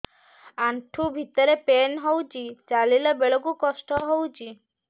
ଆଣ୍ଠୁ ଭିତରେ ପେନ୍ ହଉଚି ଚାଲିଲା ବେଳକୁ କଷ୍ଟ ହଉଚି